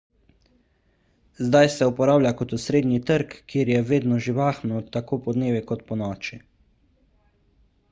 zdaj se uporablja kot osrednji trg kjer je vedno živahno tako podnevi kot ponoči